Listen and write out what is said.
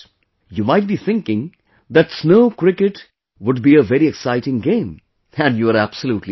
You might be thinking that Snow Cricket would be a very exciting game and you are absolutely right